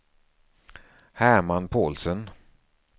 Herman Paulsson